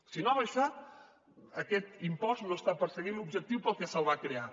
si no ha baixat aquest impost no està perseguint l’objectiu pel que se’l va crear